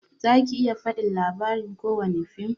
Zaki iya fadin labari kowani fim?